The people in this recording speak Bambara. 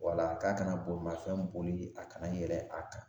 O la k'a kana bolimafɛn boli a kan ka yɛrɛ a kan